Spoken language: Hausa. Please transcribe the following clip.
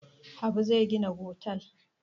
Habu zai gina otel.